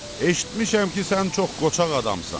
Eşitmişəm ki, sən çox qoçaq adamsan.